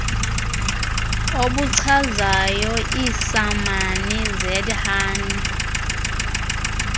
obuchazayo iisamani zathuny